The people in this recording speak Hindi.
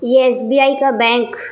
ये एस.बी.आई. का बैंक --